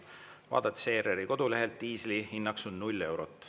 Vaadates ERR-i kodulehelt, diisli hinnaks on null eurot.